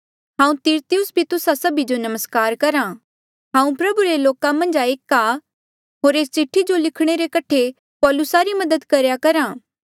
हांऊँ तिरतियुस भी तुस्सा जो नमस्कार करहा हांऊँ प्रभु रे लोका मन्झ एक आ होर एस चिठ्ठी जो लिखणे रे कठे पौलुसा री मदद करेया करहा